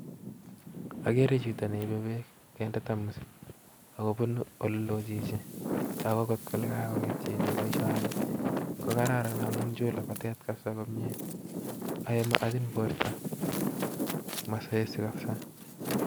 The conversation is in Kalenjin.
Akere chito nee Ibee beek keinde tamosit ak kobunu oleloo chichi takuu kolee kakongeet chichi eng boisoni kokararan amuu achin borto mazoezi kabisa